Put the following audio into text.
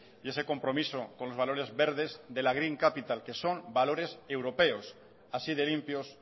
y ese compromiso con los valores verdes de la green capital que son valores europeos así de limpios